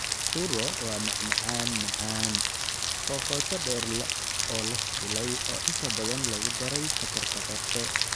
Churro waa macmacaan macaan, oo qoto dheer oo la shiilay oo inta badan lagu daray sonkorta qorfe.